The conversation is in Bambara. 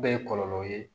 Bɛɛ ye kɔlɔlɔw ye